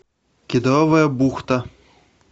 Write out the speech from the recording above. кедровая бухта